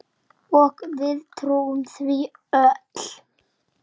Og við trúðum því öll.